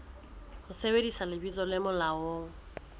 ho sebedisa lebitso le molaong